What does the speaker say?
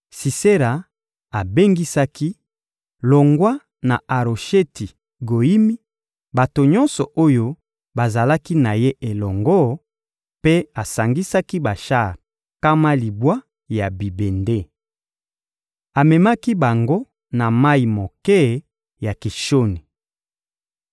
Sisera abengisaki, longwa na Arosheti-Goyimi, bato nyonso oyo bazalaki na ye elongo, mpe asangisaki bashar nkama libwa ya bibende. Amemaki bango na mayi moke ya Kishoni.